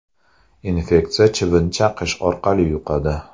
Infeksiya chivin chaqishi orqali yuqadi.